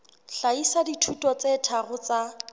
hlahisa dithuto tse tharo tsa